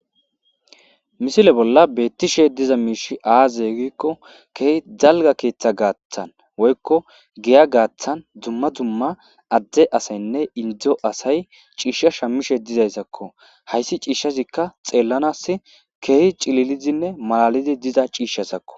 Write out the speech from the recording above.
misile bolla beettishe diza miishi aaze gikko keehi dalga keeththa gaathan woykko giya gaaththan dumma dumma adde asaynne indo asay ciishsha shammishe dizayssakko hayssi ciishshazikka xeellanas keehi cililizinne malalidi diza ciishshazakko